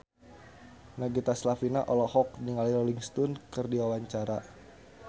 Nagita Slavina olohok ningali Rolling Stone keur diwawancara